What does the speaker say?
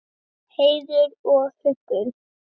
Heiður og huggun.